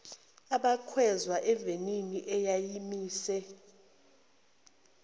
abakhweza evenini eyayimise